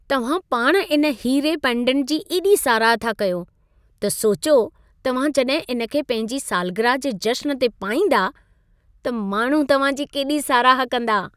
तव्हां पाण इन हीरे पेंडेंट जी एॾी साराह था कयो, त सोचियो तव्हां जॾहिं इन खे पंहिंजी सालगिरह जे जश्न ते पाईंदा, त माण्हू तव्हां जी केॾी साराह कंदा।